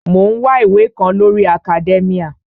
Mò ń wá ìwé kan lórii akadẹ́míà